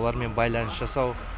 олармен байланыс жасау